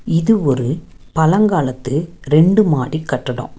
இது ஒரு பலங்காலத்து ரெண்டு மாடி கட்டடோ.